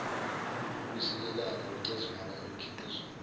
ukusikelana ucezwana emkhiqizweni